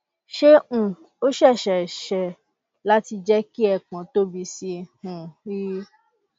ṣé um ó ṣeé ṣeé ṣe láti jẹ ki ẹpọn tóbi sí um i